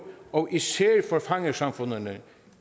og især for fangersamfundene